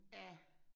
Ja